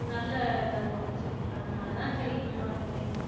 நல்லா இதா தோனிச்சு அதனால தான் செரி இங்கு வந்துட்டேன்